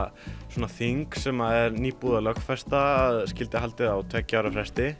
er þing sem er nýbúið að lögfesta að skyldi halda á tveggja ára fresti